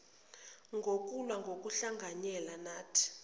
ngokulwa ngokuhlanganyela nathi